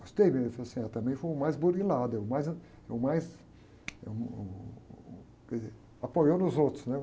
Gostei dele.le falou assim, também foi o mais, é o mais, é o mais, é uh, uh... Que apoiou nos outros, né?